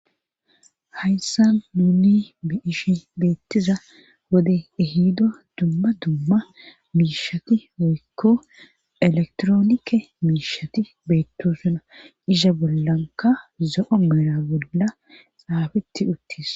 hayssa nuni be'ishe beettiza wode ehido dumma dumma miishati woykko elektroonike miishati beetto suna isha bollanka zo7o meera bolla xaafitti uttis